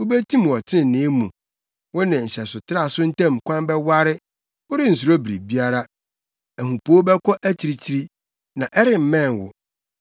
Wubetim wɔ trenee mu: Wo ne nhyɛsotraso ntam kwan bɛware worensuro biribiara. Ahupoo bɛkɔ akyirikyiri, na ɛremmɛn wo.